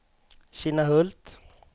Kinnahult